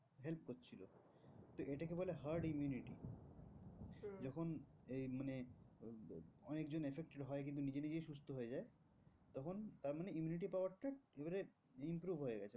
তো এটাকে বলে hard immunity যখন এই মানে অনেক জন affected হয় কিন্তু নিজে নিজেই সুস্থ হয়ে যায়। তখন তার মানে immunity power টা এবারে improve হয়ে গেছে।